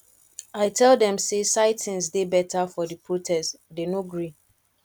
i tell dem say sitins dey better for the protest dey no gree